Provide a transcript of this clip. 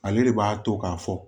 Ale de b'a to k'a fɔ